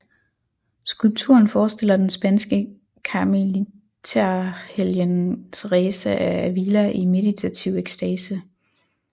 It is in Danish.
Skulpturen forestiller den spanske karmeliterhelgen Teresa af Ávila i meditativ ekstase